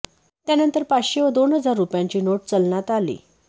त्यानंतर पाचशे व दोन हजार रुपयांची नोट चलनात आली